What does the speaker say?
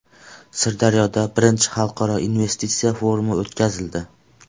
Sirdaryoda I Xalqaro investitsiya forumi o‘tkazildi.